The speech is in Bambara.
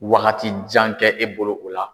Wagati jan kɛ e bolo o la.